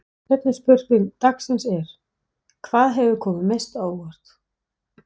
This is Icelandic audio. Seinni spurning dagsins er: Hvað hefur komið mest á óvart?